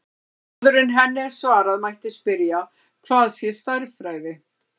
Áður en henni er svarað mætti spyrja hvað sé stærðfræði.